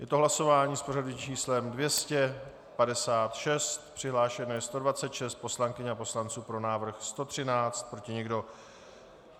Je to hlasování s pořadovým číslem 256, přihlášeno je 126 poslankyň a poslanců, pro návrh 113, proti nikdo.